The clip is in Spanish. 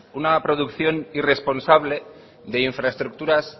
una producción irresponsable de infraestructuras